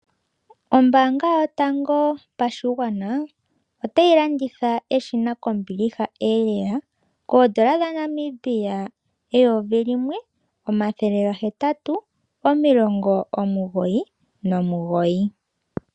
Ombaanga yotango yopashigwana otayi landitha eshina kombiliha elela, koondola dhaNamibia eyovi limwe omathele ga hetatu, omulongo omugoyi nomugoyi.